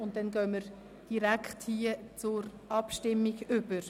Somit gehen wir direkt zur Abstimmung über.